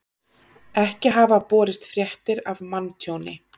Ekki hafa borist fréttir af manntjóni